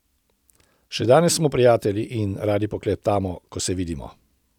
Še danes smo prijatelji in radi poklepetamo, ko se vidimo.